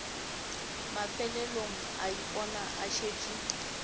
mafelelong a ipona a šetše